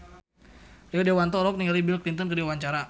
Rio Dewanto olohok ningali Bill Clinton keur diwawancara